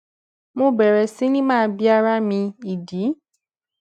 mo bèrè sí ni bi ara mi ìdí